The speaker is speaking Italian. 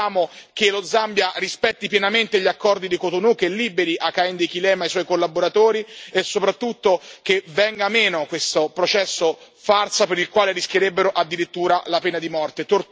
Noi chiediamo che lo Zambia rispetti pienamente gli accordi di Cotonou, che liberi Hakainde Hichilema e i suoi collaboratori e, soprattutto, che venga meno questo processo farsa per il quale rischierebbero addirittura la pena di morte.